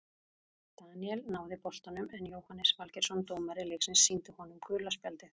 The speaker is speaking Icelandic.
Daníel náði boltanum en Jóhannes Valgeirsson dómari leiksins sýndi honum gula spjaldið.